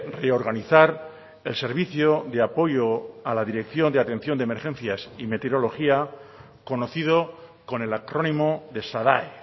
reorganizar el servicio de apoyo a la dirección de atención de emergencias y meteorología conocido con el acrónimo de sadae